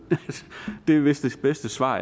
det er vist det bedste svar